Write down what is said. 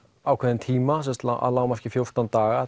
ákveðinn tíma að lágmarki fjórtán daga